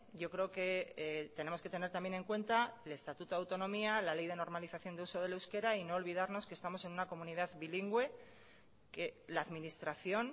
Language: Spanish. yo creo que tenemos que tener también en cuenta el estatuto de autonomía la ley de normalización de uso del euskera y no olvidarnos que estamos en una comunidad bilingüe que la administración